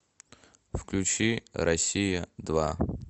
включи россия два